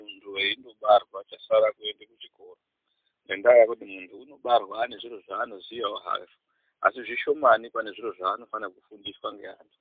Muntu eindobarwa chasara kuenda kuchikoro , ngendaa yekuti muntu unobarwa anezviro zveanoziya hake, asi zvishomani pane zveanofane kufundiswa ngeantu.